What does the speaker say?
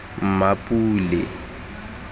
mmapule